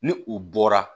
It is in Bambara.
Ni u bɔra